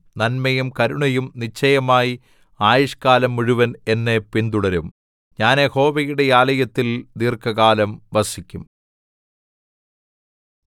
നന്മയും കരുണയും നിശ്ചയമായി ആയുഷ്കാലം മുഴുവൻ എന്നെ പിന്തുടരും ഞാൻ യഹോവയുടെ ആലയത്തിൽ ദീർഘകാലം വസിക്കും